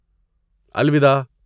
الوداع!